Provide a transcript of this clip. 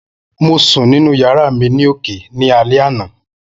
Mo sun ninu yara mi ni oke ni alẹ ana